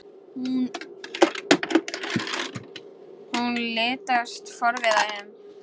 Hún litast forviða um.